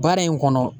Baara in kɔnɔ